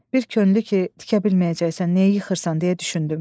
Bir könüllü ki, tikə bilməyəcəksən, niyə yıxırsan deyə düşündüm.